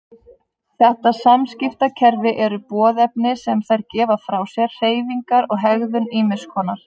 Þetta samskiptakerfi eru boðefni sem þær gefa frá sér, hreyfingar og hegðun ýmiss konar.